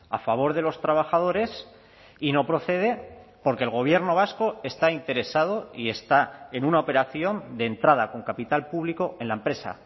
a favor de los trabajadores y no procede porque el gobierno vasco está interesado y está en una operación de entrada con capital público en la empresa